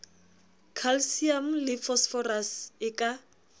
calcium le phosphorus e ka